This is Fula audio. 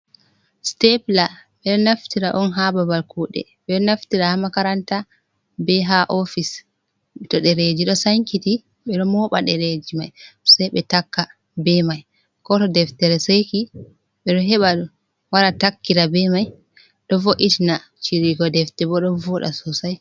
Stepla ɓeɗo naftira on ha babal kuɗe, ɓeɗo naftira ha makaranta be ha office, to dereji do sankiti ɓe ɗo moɓa dereji mai sai be taka be mai, ko to deftere seki ɓe ɗo heɓa wara takkira be mai, do vo’itina ciriyugo defte bo ɗon voda sosai.